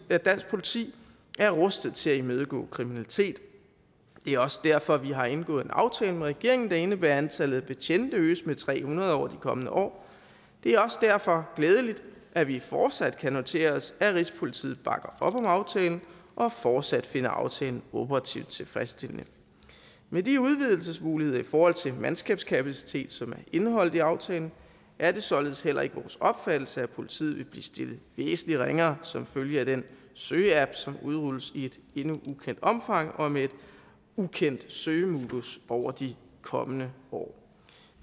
at dansk politi er rustet til at imødegå kriminalitet det er også derfor vi har indgået en aftale med regeringen der indebærer at antallet af betjente øges med tre hundrede over de kommende år det er også derfor glædeligt at vi fortsat kan notere os at rigspolitiet bakker op om aftalen og fortsat finder aftalen operativt tilfredsstillende med de udvidelsesmuligheder i forhold til mandskabskapacitet som er indeholdt i aftalen er det således heller ikke vores opfattelse at politiet vil blive stillet væsentlig ringere som følge af den søge app som udrulles i et endnu ukendt omfang og med et ukendt søgemodus over de kommende år